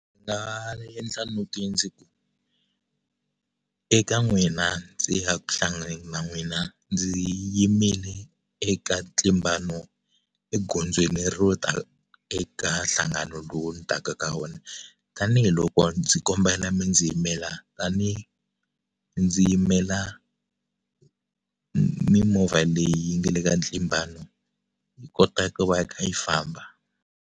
eka n'wina ndzi ya ku hlanganeni na n'wina ndzi yimile eka ntlimbano egondzweni ro ta eka nhlangano lowu ni taka ka wona tanihiloko ndzi kombela mi ndzi yimela tani ndzi yimela mimovha leyi nga le ka ntlimbano yi kota ku va yi kha yi famba.